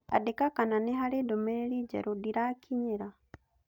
Andĩka kana nĩ harĩ ndũmĩrĩri njerũ ndĩrakinyĩra